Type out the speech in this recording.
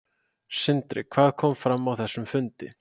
Sindri: Hvað kom fram á þessum fundi?